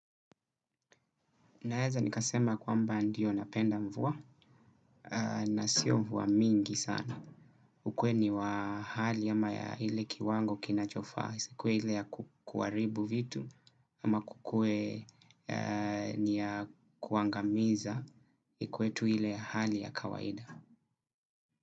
Naweza nikasema kwamba ndio napenda mvua na siyo mvua mingi sana. Ukuwe ni wa hali ama ya ile kiwango kinachofaa, isikuwe ile ya kukuharibu vitu ama kukuwe ni ya kuangamiza ikuwe tu ile ya hali ya kawaida.